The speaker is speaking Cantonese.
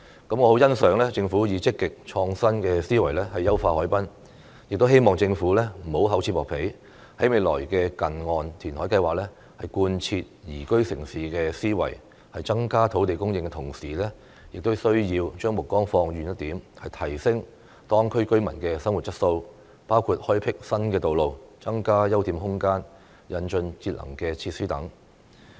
我很欣賞政府以積極、創新的思維優化海濱，亦希望政府不要厚此薄彼，在未來的近岸填海計劃，貫徹"宜居城市"的思維，在增加土地供應的同時，亦需要將目光放遠一點，提升當區居民的生活質素，包括開闢新道路、增加休憩空間、引進節能設施等。